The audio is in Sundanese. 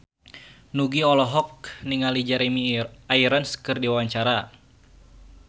Nugie olohok ningali Jeremy Irons keur diwawancara